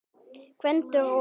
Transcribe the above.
Gvendur og